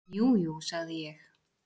"""Jú, jú, sagði ég."""